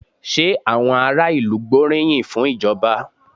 Ṣé àwọn ará ìlú gbóríyìn fún ìjọba?